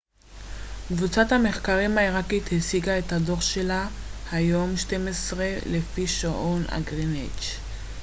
קבוצת המחקר העיראקית הציגה את הדוח שלה היום ב-12:00 לפי שעון גריניץ'